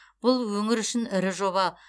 бұл өңір үшін ірі жоба